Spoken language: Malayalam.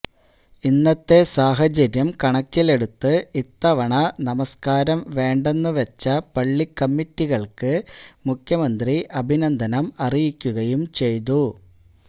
ഇന്നത്തെ സാഹചര്യം കണക്കിലെടുത്ത് ഇത്തവണ നമസ്കാരം വേണ്ടെന്ന് വച്ച പള്ളിക്കമ്മിറ്റികൾക്ക് മുഖ്യമന്ത്രി അഭിനന്ദനം അറിയിക്കുകയും ചെയ്തു